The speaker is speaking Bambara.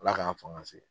Ala k'an fanga se